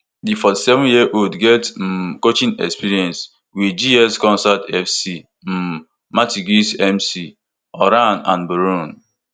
di forty-sevenyearold get um coaching experience wit gs consolat fc um martigues mc oran and boulogne